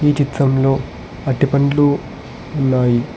ఈ చిత్రంలో అరటి పండ్లు ఉన్నాయి.